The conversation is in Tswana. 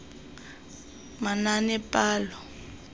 manaanepalo